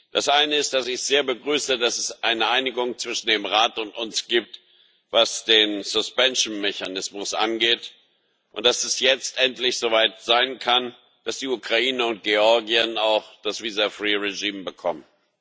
Das eine ist, dass ich es sehr begrüße, dass es eine Einigung zwischen dem Rat und uns gibt, was den Mechanismus angeht, und dass es jetzt endlich soweit sein kann, dass die Ukraine und Georgien auch das Regime bekommen.